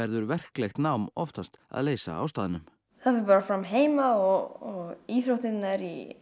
verklegt nám oftast að leysa á staðnum það fram heima og íþróttirnar